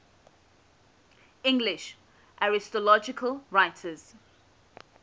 english astrological writers